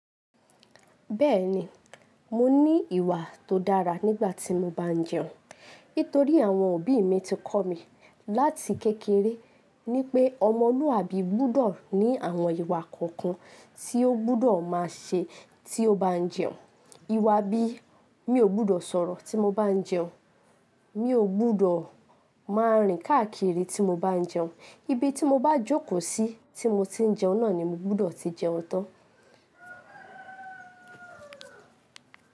Bẹ́ẹ̀ni, mo ní ìwà tó dára nígbà tí mo bá ń jẹun. Nítorí àwọn òbí mi ti kọ́ mi láti kékeré ni pé ọmọlúàbí gbọ́dọ̀ ní àwọn ìwà kọ̀ọ̀kan tí ó gbọ́dọ̀ má ṣe tí ó bá ń jẹun. Ìwà bí i mi ò gbọ́dọ̀ sọ̀rọ̀ tí mo bá ń jẹun, mi ò gbọ́dọ̀ má rìn káàkiri tí mo bá ń jẹun, ibi tí mo bá jókòó sí tí mo ti ń jẹun náà ni mo gbọ́dọ̀ ti jẹun tán.